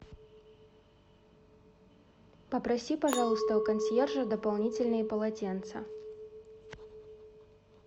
попроси пожалуйста у консьержа дополнительные полотенца